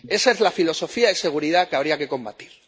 Esa es la filosofía de seguridad que habría que combatir.